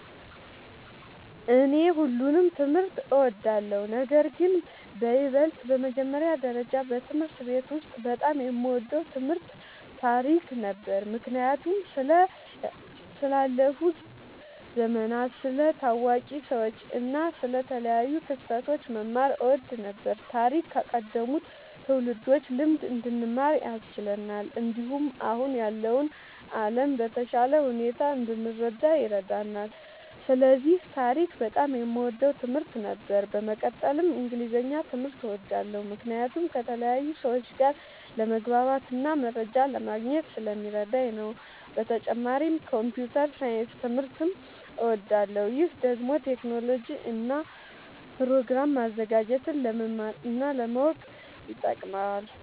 እኔ ሁሉንም ትምህርት እወዳለሁ፤ ነገርግን በይበልጥ በመጀመሪያ ደረጃ በትምህርት ቤት ውስጥ በጣም የምወደው ትምህርት ታሪክ ነበር። ምክንያቱም ስለ ያለፉ ዘመናት፣ ስለ ታዋቂ ሰዎች እና ስለ ተለያዩ ክስተቶች መማር እወድ ነበር። ታሪክ ከቀደሙት ትውልዶች ልምድ እንድንማር ያስችለናል፣ እንዲሁም አሁን ያለውን ዓለም በተሻለ ሁኔታ እንድንረዳ ይረዳናል። ስለዚህ ታሪክ በጣም የምወደው ትምህርት ነበር። በመቀጠልም እንግሊዝኛ ትምህርት እወዳለሁ ምክንያቱም ከተለያዩ ሰዎች ጋር ለመግባባትና መረጃ ለማግኘት ስለሚረዳኝ ነዉ። በተጨማሪም ኮምፒዉተር ሳይንስ ትምህርትም እወዳለሁ። ይህ ደግሞ ቴክኖሎጂን እና ፕሮግራም ማዘጋጀትን ለመማር እና ለማወቅ ይጠቅማል።